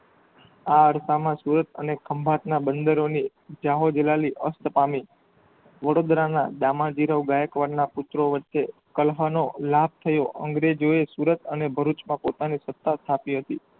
આ અડતાના સ્ત્રોત અને ખમ્ભાતના બંદરોની જાહોજલાલી અસ્ત પામી વડોદરાના દામાદિરો ગાયકવાડ ના પુત્રો વરચે કાન્હાનો લાપ થયો અંગેરેજોએ સુરત અને ભરૂચ માં પોતાની સતા સ્થાપી હતી.